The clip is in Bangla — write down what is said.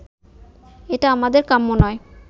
এটা আমাদের কাম্য নয়